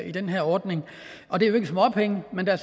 i den her ordning og det er jo ikke småpenge men der